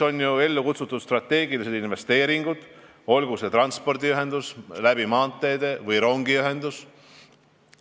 On ellu kutsutud strateegilised investeeringud, olgu eesmärk transpordiühendus maanteede kaudu või rongiühendus.